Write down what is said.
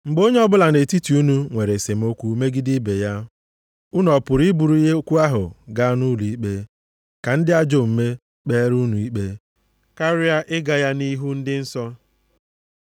Mgbe onye ọbụla nʼetiti unu nwere esemokwu megide ibe ya, unu ọ pụrụ i buru okwu ahụ gaa nʼụlọikpe ka ndị ajọ omume kpeere unu ikpe, karịa ịga ya nʼihu ndị nsọ?